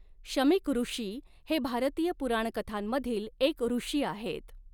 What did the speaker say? शमीकऋषी हे भारतीय पुराणकथांमधील एक ऋषी आहेत.